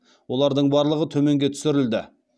олардың барлығы төменге түсірілді